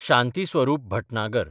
Shanti Swarup Bhatnagar